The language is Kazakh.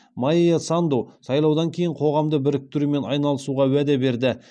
майя санду сайлаудан кейін қоғамды біріктірумен айналысуға уәде берді